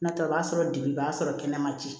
N'o tɛ o b'a sɔrɔ degun o b'a sɔrɔ kɛnɛma ten